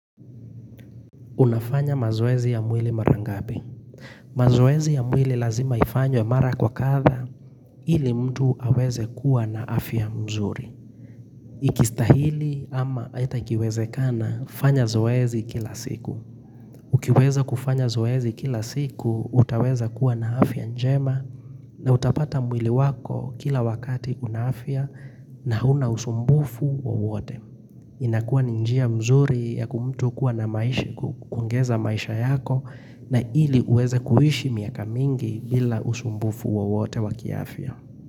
Unafanya mazoezi ya mwili mara ngapi? Mazoezi ya mwili lazima ifanywe mara kwa kadha ili mtu aweze kuwa na afya mzuri. Ikistahili ama ata ikiwezekana, fanya zoezi kila siku. Ukiweza kufanya zoezi kila siku, utaweza kuwa na afya njema na utapata mwili wako, kila wakati una afya na huna usumbufu wowote. Inakua ni njia mzuri ya mtu kuwa na maisha kuongeza maisha yako na ili uweze kuhishi miaka mingi bila usumbufu wowote wa ki afya.